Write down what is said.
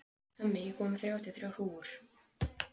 Hemmi, ég kom með þrjátíu og þrjár húfur!